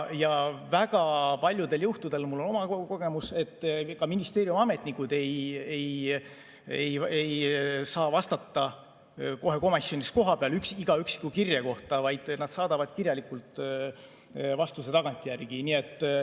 Väga paljudel juhtudel, mul on oma kogemus, ka ministeeriumi ametnikud ei saa vastata kohe komisjonis kohapeal iga üksiku kirje kohta, vaid nad saadavad kirjalikult vastuse tagantjärgi.